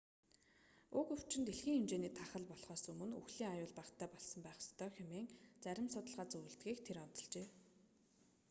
уг өвчин дэлхийн хэмжээний тахал болхоос өмнө үхлийн аюул багатай болсон байх ёстой хэмээн зарим судалгаа зөвлөдгийг тэр онцолжээ